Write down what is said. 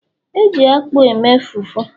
e ji akpu e mee fufu